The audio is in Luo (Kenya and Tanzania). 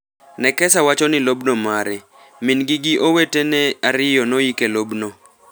Nekesa wacho ni lobno mare. Mingi gi owete ne ario noik e lob no.